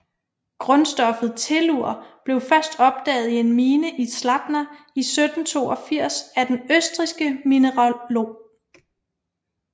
Grundstoffet Tellur blev først opdaget i en mine i Zlatna i 1782 af den østrigske mineralog